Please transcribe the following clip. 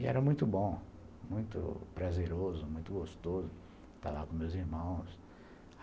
E era muito bom, muito prazeroso, muito gostoso estar lá com meus irmãos.